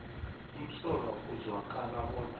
umsolwa ekuzwakala bona